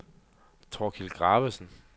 Thorkild Graversen